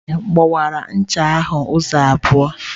Chidi gbawara ncha ahụ ụzọ abụọ.